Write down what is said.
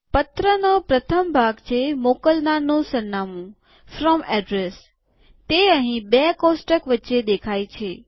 પત્રનો પ્રથમ ભાગ છેમોકલનારનું સરનામુંતે અહીં બે કોષ્ટક વચ્ચે દેખાય છે